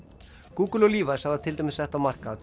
Google og Levis hafa til dæmis sett á markað